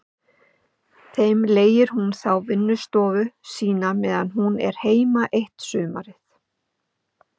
Þeim leigir hún þá vinnustofu sína meðan hún er heima eitt sumarið.